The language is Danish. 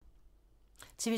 TV 2